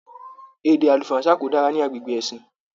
Èdè àlùfáànsa ko dára ní agbègbè ẹ̀sìn.